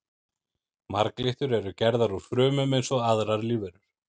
Marglyttur eru gerðar úr frumum eins og aðrar lífverur.